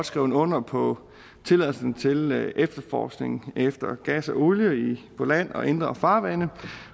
skrevet under på tilladelsen til efterforskning efter gas og olie på land og i indre farvande